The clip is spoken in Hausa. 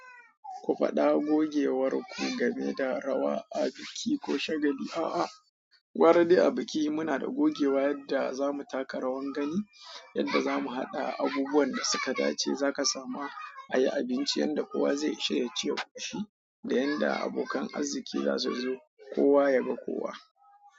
Ku faɗa gogewar ku game da rawa a biki ko shagali. A'a, gwara dai a biki muna da gogewa yadda zamu taka rawan gani, yadda zamu haɗa abubuwan da suka dace, za ka samu ayi abinci yadda kowa zai ishe ya ci ya ƙoshi, da yadda abokan arziƙi za su zo kowa ya ga kowa.